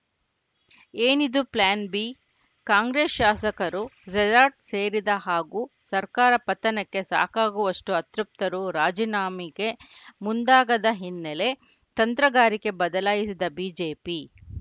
ಏನಿದು plan B Congress ಶಾಸಕರು resort ಸೇರಿದ ಹಾಗೂ ಸರ್ಕಾರ ಪತನಕ್ಕೆ ಸಾಕಾಗುವಷ್ಟುಅತೃಪ್ತರು ರಾಜೀನಾಮೆಗೆ ಮುಂದಾಗದ ಹಿನ್ನೆಲೆ ತಂತ್ರಗಾರಿಕೆ ಬದಲಾಯಿಸಿದ ಬಿಜೆಪಿ